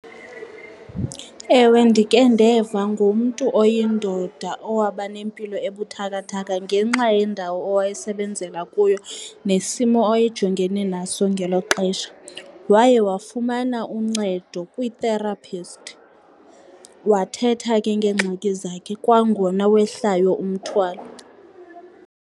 Ewe, ndikhe ndeva ngumntu oyindoda owahamba nempilo ebuthakathaka ngenxa yendawo owayesebenzela kuyo nesimo awayejongene naso ngelo xesha. Waye wafumana uncedo kwi-therapist wathetha ke ngeengxaki zakhe, kwangona wehlayo umthwalo.